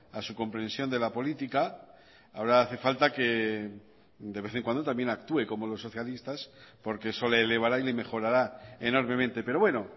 a su comprensión de la política ahora hace falta que de vez en cuando también actúe como los socialistas porque eso le elevará y le mejorará enormemente pero bueno